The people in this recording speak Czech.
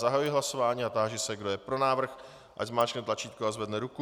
Zahajuji hlasování a táži se, kdo je pro návrh, ať zmáčkne tlačítko a zvedne ruku.